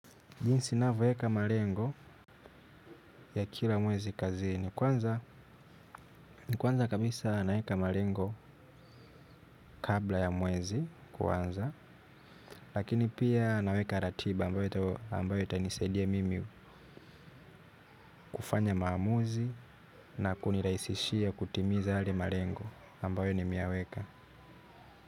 Jinsi navyoweka malengo ya kila mwezi kazini kwanza kabisa naweka malengo kabla ya mwezi kwanza lakini pia naweka ratiba ambayo itanisaidia mimi kufanya maamuzi na kuniraisishia kutimiza yale malengo ambayo nime yaweka.